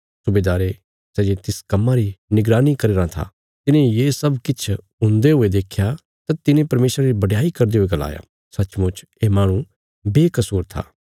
सुबेदारे सै जे तिस कम्मां री निगरानी करी रां था तिने ये सब किछ हुन्दे हुये देख्या तां तिने परमेशरा री बडयाई करदे हुये गलाया सच्चमुच ये माहणु बेकसूर था